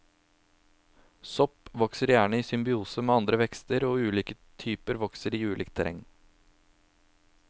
Sopp vokser gjerne i symbiose med andre vekster, og ulike typer vokser i ulikt terreng.